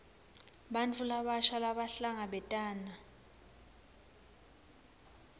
bantfu labasha labahlangabetana